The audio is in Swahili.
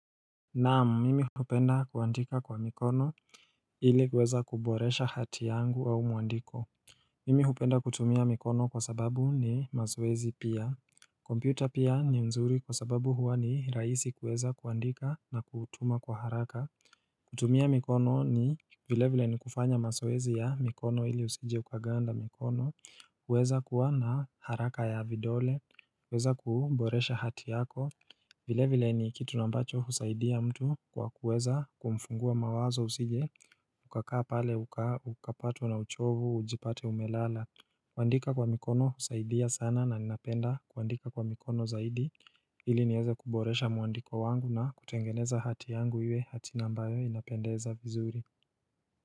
Naam mimi hupenda kuandika kwa mikono ili kuweza kuboresha hati yangu au mwandiko Mimi hupenda kutumia mikono kwa sababu ni mazoezi pia kompyuta pia ni mzuri kwa sababu huwa ni rahisi kuweza kuandika na kutuma kwa haraka kutumia mikono ni vile vile ni kufanya mazoezi ya mikono ili usije ukaganda mikono uweza kuwa na haraka ya vidole kuweza kuboresha hati yako vile vile ni kitu ambacho husaidia mtu kwa kuweza kumfungua mawazo usije Ukakaa pale ukapatwa na uchovu ujipate umelala kuandika kwa mikono husaidia sana na ninapenda kuandika kwa mikono zaidi ili niweze kuboresha mwandiko wangu na kutengeneza hati yangu iwe hati na ambayo inapendeza vizuri.